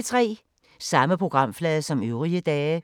Samme programflade som øvrige dage